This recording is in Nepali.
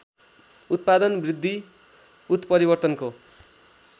उत्पादन वृद्धि उत्परिवर्तनको